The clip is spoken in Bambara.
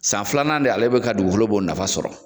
San filanan de ale bɛ ka dugukolo b'o nafa sɔrɔ.